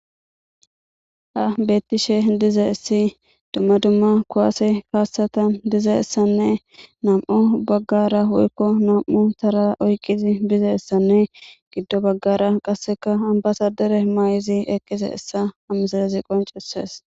Ha bettishe dize issi dumma dumma kuwaase kaassata dize essanne nam'o baggara woykko nam'u tara oyqizi bize essanne giddo baggara qasseka ambasadere may'izi eqqise issa hamsilezi qoncises.